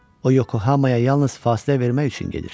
O, Yokohamaya yalnız fasilə vermək üçün gedir.